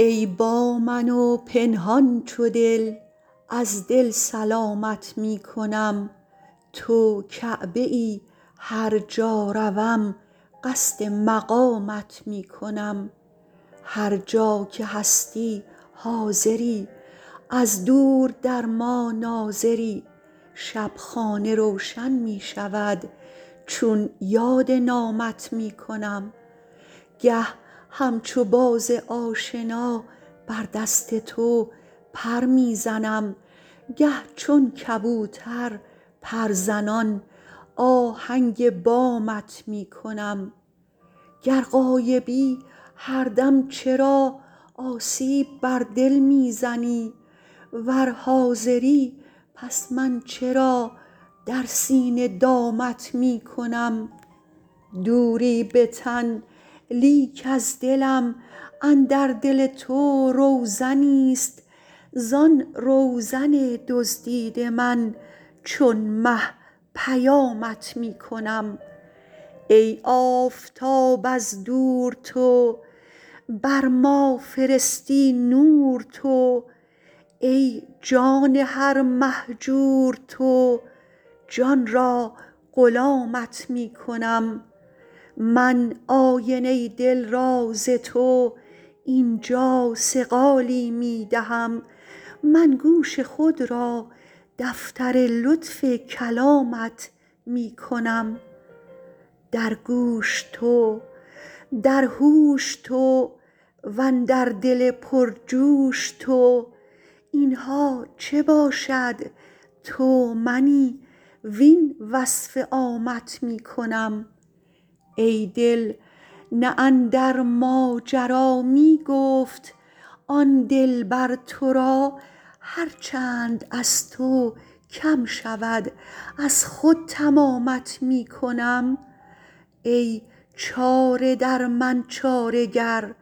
ای با من و پنهان چو دل از دل سلامت می کنم تو کعبه ای هر جا روم قصد مقامت می کنم هر جا که هستی حاضری از دور در ما ناظری شب خانه روشن می شود چون یاد نامت می کنم گه همچو باز آشنا بر دست تو پر می زنم گه چون کبوتر پرزنان آهنگ بامت می کنم گر غایبی هر دم چرا آسیب بر دل می زنی ور حاضری پس من چرا در سینه دامت می کنم دوری به تن لیک از دلم اندر دل تو روزنیست زان روزن دزدیده من چون مه پیامت می کنم ای آفتاب از دور تو بر ما فرستی نور تو ای جان هر مهجور تو جان را غلامت می کنم من آینه دل را ز تو این جا صقالی می دهم من گوش خود را دفتر لطف کلامت می کنم در گوش تو در هوش تو وندر دل پرجوش تو این ها چه باشد تو منی وین وصف عامت می کنم ای دل نه اندر ماجرا می گفت آن دلبر تو را هر چند از تو کم شود از خود تمامت می کنم ای چاره در من چاره گر